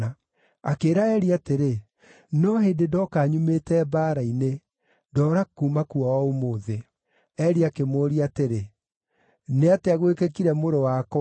Akĩĩra Eli atĩrĩ, “No hĩndĩ ndooka nyumĩte mbaara-inĩ; ndoora kuuma kuo o ũmũthĩ.” Eli akĩmũũria atĩrĩ, “Nĩ atĩa gwĩkĩkire mũrũ wakwa?”